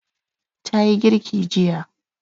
Ta yi girki jiya.